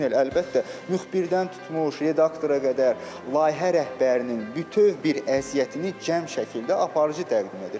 Əlbəttə, müxbirdən tutmuş, redaktora qədər, layihə rəhbərinin bütöv bir əziyyətini cəm şəkildə aparıcı təqdim edir.